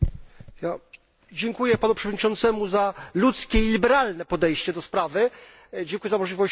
Dziękuję Panu Przewodniczącemu za ludzkie i liberalne podejście do sprawy, dziękuję za możliwość zabrania głosu.